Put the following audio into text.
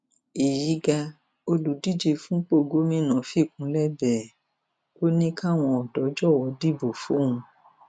èyí ga olùdíje fúnpọ gómìnà fikúnlẹ bẹ ẹ ò ní káwọn ọdọ jọwọ dìbò fóun